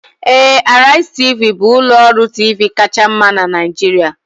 Ee, Arise Tv, bụ ụlọ ọrụ TV kacha mma na Nigeria